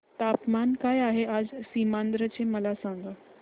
तापमान काय आहे आज सीमांध्र चे मला सांगा